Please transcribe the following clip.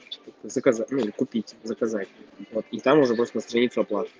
заказать ну купить заказать и вот и там уже можно на страницу оплаты